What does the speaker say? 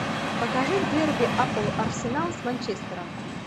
покажи дерби апл арсенал с манчестером